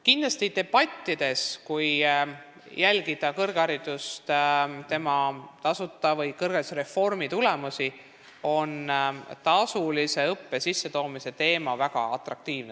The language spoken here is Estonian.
Kindlasti on debattides, kui jälgida tasuta kõrghariduse või kõrgharidusreformi tulemusi, tasulise õppe sissetoomise teema väga atraktiivne.